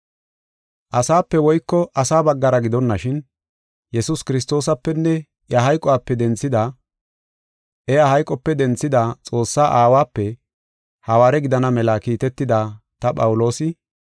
Asape woyko asa baggara gidonashin, Yesuus Kiristoosapenne iya hayqope denthida Xoossaa Aawape hawaare gidana mela kiitetida ta Phawuloosi,